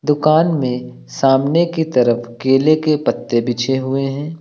दुकान में सामने की तरफ केले के पत्ते बिछे हुए हैं।